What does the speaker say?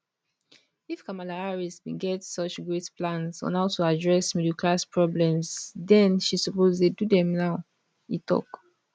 if kamala harris bin get such great plans on how to address middle class problems den she suppose dey do dem now e tok